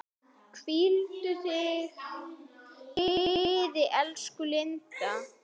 Hvíldu í friði, elsku Linda.